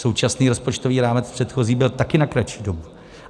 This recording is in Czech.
Současný rozpočtový rámec, předchozí, byl také na kratší dobu.